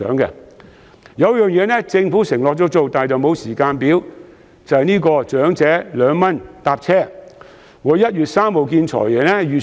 有一項措施政府已承諾實行，但未有時間表，那就是長者2元乘車優惠。